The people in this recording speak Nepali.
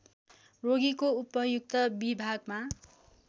रोगीको उपयुक्त विभागमा